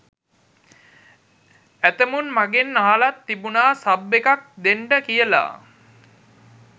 ඇතැමුන් මගෙන් අහලත් තිබුණ සබ් එකක් දෙන්ඩ කියල.